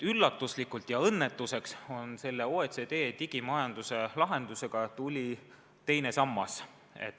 Üllatuslikult ja õnnetuseks tuli sellele OECD digimajanduse lahendusele juurde teine sammas.